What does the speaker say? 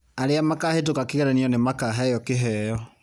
Arĩa makahĩtũka kĩgeranio nĩ makaheo kĩheo.